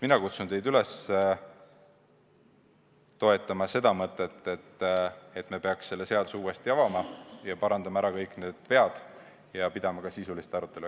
Mina kutsun teid üles toetama seda mõtet, et me peaksime selle seaduse uuesti avama, parandama ära kõik vead ja pidama ka sisulist arutelu.